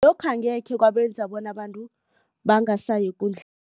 Lokho angekhe kwenza abantu bona bangasayi